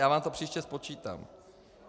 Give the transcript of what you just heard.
Já vám to příště spočítám.